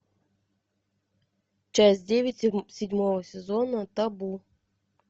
часть девять седьмого сезона табу